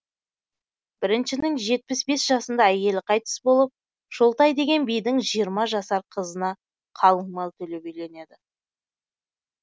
біріншінің жетпіс бес жасында әйелі қайтыс болып шолтай деген бидің жиырма жасар қызына қалың мал төлеп үйленеді